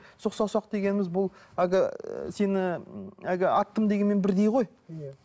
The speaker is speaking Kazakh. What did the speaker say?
сұқ саусақ дегеніміз бұл әлгі сені әлгі аттым дегенмен бірдей ғой иә